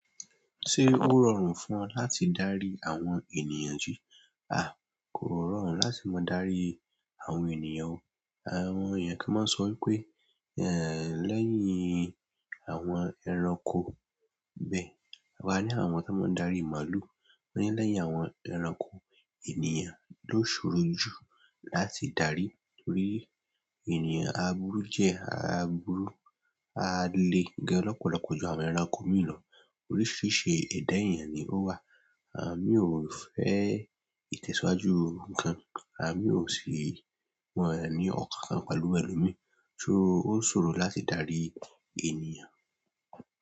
Se o rọrùn fún o láti dari àwọn ènìyàn ji? A kò ma rọrùn láti máa darí àwọn ènìyàn o. Àwọn ènìyàn kan máa sọ wípé, eh, lẹ́yìn àwọn ẹranko bẹ́ẹ̀, wà á ní àwọn tí wọ́n máa ń darí màlúù, ó ní lẹ́yìn àwọn ẹranko, ènìyàn ló ṣòro jù láti darí torí ènìyàn á burú díẹ̀, á burú, á le gan lọ́pọ̀lọpọ̀ ju àwọn ẹranko mìíràn lọ. Oríṣìíríṣìí ẹ̀dà ènìyàn ni ó wà. Àwọn míì o fẹ ìtẹ̀síwájú nǹkan àwọn míì o si won o ni ọkàn pẹ̀lú ẹlòmíì ṣo ó ṣòro láti darí ènìyàn?